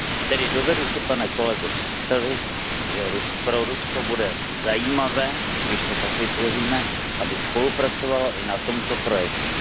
Tedy dovedu si, pane kolego, představit, že pro Rusko bude zajímavé, když to tak vytvoříme, aby spolupracovalo i na tomto projektu.